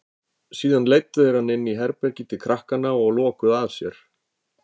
Síðan leiddu þeir hann inní herbergið til krakkanna og lokuðu að sér.